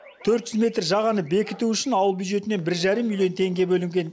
төрт жүз метр жағаны бекіту үшін ауыл бюджетінен бір жарым миллион теңге бөлінген